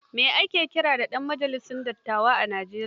Me ake kiran ɗan majalisar dattawa a Nijeriya?